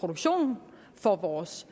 produktion for vores